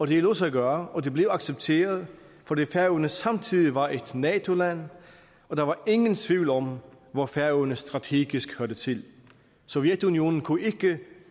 det lod sig gøre og det blev accepteret fordi færøerne samtidig var et nato land og der var ingen tvivl om hvor færøerne strategisk hørte til sovjetunionen kunne ikke